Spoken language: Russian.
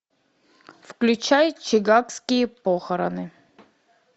включай чикагские похороны